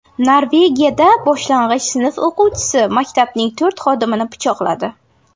Norvegiyada boshlang‘ich sinf o‘quvchisi maktabning to‘rt xodimini pichoqladi.